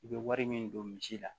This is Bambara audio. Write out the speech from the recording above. I bɛ wari min don misi la